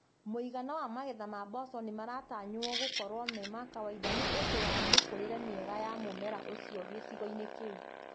Mũigana wa magetha ma mboco nĩ maratanywo gũkorwo ma kawaida nĩ ũndũ wa mĩkorĩre mĩega ya mũmera ũcio gĩcigoinĩ kĩu.